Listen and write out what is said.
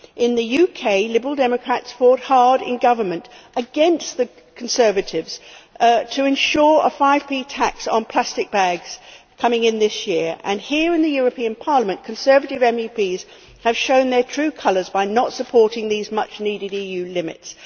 In the UK, Liberal Democrats fought hard in government, against the Conservatives, to ensure a 5p tax on plastic bags, coming in this year, and here in the European Parliament Conservative MEPs have shown their true colours by not supporting these much needed EU limits.